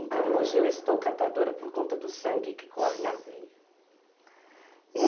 Então hoje eu estou catadora por conta do sangue que corre na veia.